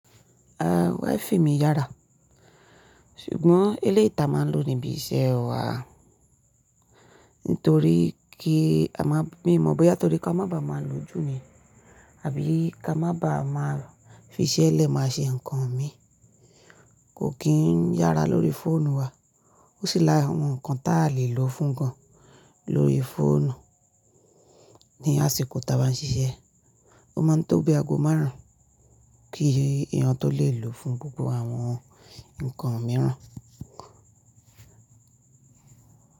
Ah Wi-Fi mi yára, ṣùgbọ́n eléyi ta máa ń lò níbi iṣẹ́ wa. Nítorí kí a máa, mi mọ̀ bóyá nítorí ká má bá má lòjú ni àbí ká má bá má fiṣẹ́ lẹ̀ má ṣe nǹkan mi. Kò kín yára lórí fóònù wa, ó sì la àwọn nǹkan ta lè lò fún gan lórí fóònù ní àsìkò ta bà ń ṣiṣẹ́. Ó máa ń tóbi ago márùn-ún kí eyàn tó lè lò fún gbogbo àwọn nǹkan mìíràn.